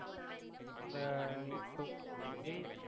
உங்க